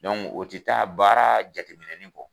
o ti taa baara jateminɛni kɔ.